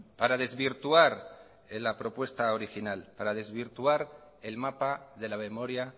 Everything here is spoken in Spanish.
para desvirtuar la propuesta original para desvirtuar el mapa de la memoria